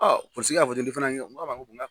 Ɔ polisi kɛ y'a fɔ cogo min i fana ki n ko a ma n ko.